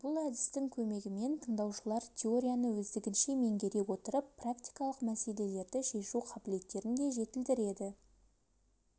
бұл әдістің көмегімен тыңдаушылар теорияны өздігінше меңгере отырып практикалық мәселелерді шешу қабілеттерін де жетілдіреді